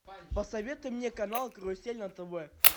посоветуй мне канал карусель на тв